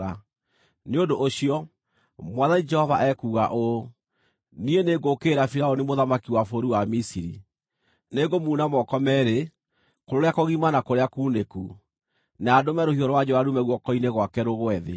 Nĩ ũndũ ũcio, Mwathani Jehova ekuuga ũũ: Niĩ nĩngũũkĩrĩra Firaũni mũthamaki wa bũrũri wa Misiri. Nĩngũmuuna moko meerĩ, kũrĩa kũgima na kũrĩa kuunĩku, na ndũme rũhiũ rwa njora ruume guoko-inĩ gwake rũgwe thĩ.